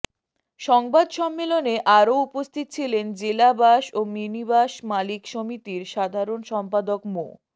সংবাদ সম্মেলনে আরো উপস্থিত ছিলেন জেলা বাস ও মিনিবাস মালিক সমিতির সাধারণ সম্পাদক মো